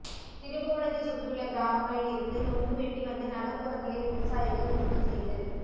திருப்புவனத்தைச் சுற்றியுள்ள கிராமங்களில் இருந்து நுங்கு வெட்டி வந்து நகர்புறங்களில் விவசாயிகள் விற்பனை செய்து